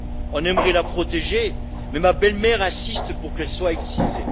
On aimerait la protéger, mais ma belle mère insiste pour qu'elle soit excisée.